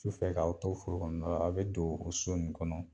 Sufɛ k'aw to foro kɔnɔna la a be don o so n kɔnɔ